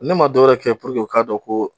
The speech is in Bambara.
Ne ma dɔwɛrɛ kɛ purke u k'a dɔn ko